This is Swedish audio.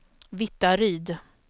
Vittaryd